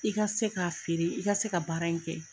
I ka se k'a feere, i ka se ka baara in kɛ.